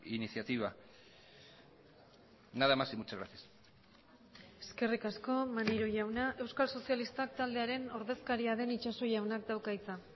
iniciativa nada más y muchas gracias eskerrik asko maneiro jauna euskal sozialistak taldearen ordezkaria den itxaso jaunak dauka hitza